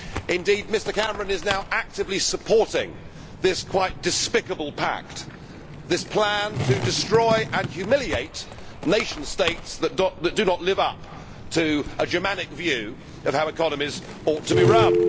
Indeed, Mr Cameron is now actively supporting this quite despicable pact, this plan to destroy and humiliate nation states that do not live up to a Germanic view of how economies ought to be run.